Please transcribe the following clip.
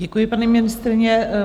Děkuji, paní ministryně.